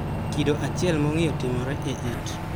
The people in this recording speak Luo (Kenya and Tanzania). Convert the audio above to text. Kido achiel mong'iyo timore e it.